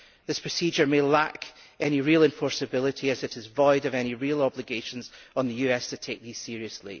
This procedure may lack any real enforceability, as it is void of any real obligations on the US to take these seriously.